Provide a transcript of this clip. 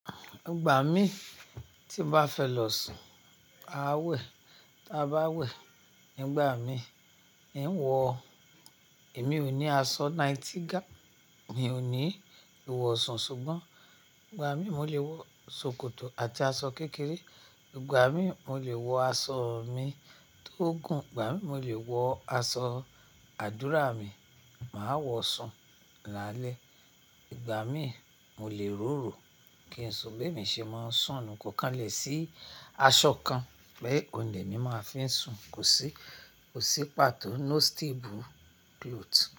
Ìgbà mi tí n bá fẹ́ lọ sùn, a wẹ̀, tí a bá wẹ̀, nígbà mí n wọ, èmi ò ní aṣọ nighty ga, mi ò ní ìwọ̀sàn ṣùgbọ́n ìgbà mí mo lè wọ ṣòkòtò àti aṣọ kékeré. Ìgbà mí mo lè wọ aṣọ mi tó gùn, ìgbà mí mo lè wọ aṣọ àdúrà mi, màá wọ̀ sùn lálẹ́. Ìgbà mí mo lè ròrò kí n sùn bí èmi ṣe máa ń sùn. Kò kànlẹ̀ sí aṣọ kan pé òhun lè mí máa fi ń sùn. Kò sí, kò sí pàtó no stable cloth.